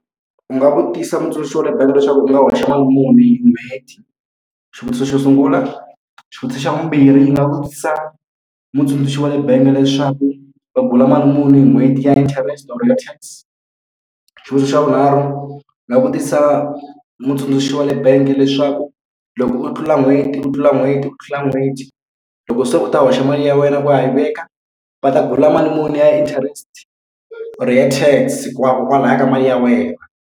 U nga vutisa mutsundzuxi wa le bangi leswaku u nga hoxa mali muni hi n'hweti? Xivutiso xo sungula. Xivutiso xa vumbirhi ndzi nga vutisa mutsundzuxi wa le bangi leswaku va mali muni hi n'hweti ya interest or-o ya tax. Xivutiso xa vunharhu, ni nga vutisa mutsundzuxi wa le bangi leswaku loko u tlula n'hweti u tlula n'hweti u tlula n'hweti, loko se u ta hoxa mali ya wena u ya yi veka, va ta mali muni ya interest or ya TAX kona kwalaho ka mali ya wena?